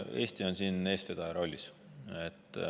Eesti on siin eestvedaja rollis.